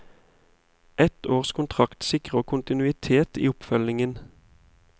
Ett års kontrakt sikrer kontinuitet i oppfølgingen.